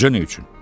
Necə neçün?